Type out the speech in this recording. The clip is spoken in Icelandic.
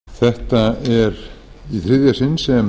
hæstvirtur forseti þetta er í þriðja sinn sem